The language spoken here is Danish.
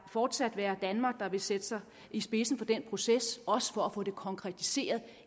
fortsat være danmark der vil sætte sig i spidsen for den proces også for at få det konkretiseret